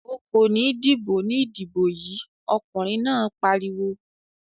"O kò ní dìbò ní ìdìbò yìí!" Ọkùnrin náà pariwo.